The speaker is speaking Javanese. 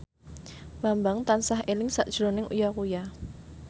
Bambang tansah eling sakjroning Uya Kuya